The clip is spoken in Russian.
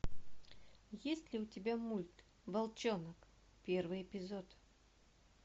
есть ли у тебя мульт волчонок первый эпизод